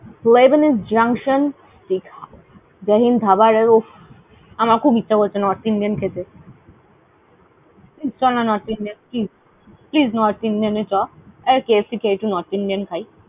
Lebanese junction . Jai Hind Dhaba র উফফ। আমরা খুব ইচ্ছা করছে North Indian খেতে। চল না North Indian please । please North Indian এ চ। এই KFC খেয়ে একটু North Indian খাই।